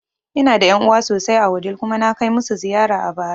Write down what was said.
Ina da ƴan'uwa sosai a Wudil kuma na kai masu ziyara a bara